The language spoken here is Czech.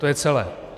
To je celé.